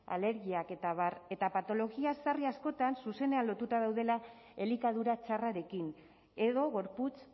alergiak eta abar eta patologia sarri askotan zuzenean lotuta daudela elikadura txarrarekin edo gorputz